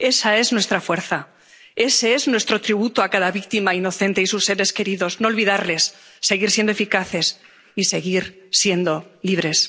Esa es nuestra fuerza, ese es nuestro tributo a cada víctima inocente y a sus seres queridos no olvidarlos, seguir siendo eficaces y seguir siendo libres.